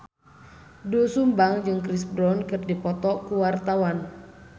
Doel Sumbang jeung Chris Brown keur dipoto ku wartawan